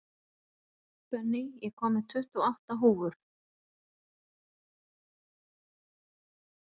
Benný, ég kom með tuttugu og átta húfur!